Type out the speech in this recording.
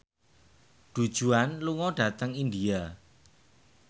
Du Juan lunga dhateng India